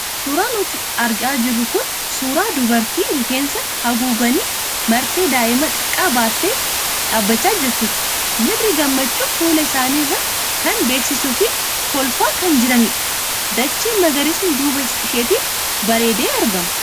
Suuraa nutti argamaa jiru kun suuraa dubartii rifeensa haguuggiin marattee daa'ima xiqqaa baattee dhaabachaa jirtuuti. Miirri gammachuu fuula isaanii irraa kan beeksisuu fi kolfaa kan jiranidha. Dacheen magariisni duuba isheetiin bareedee argama.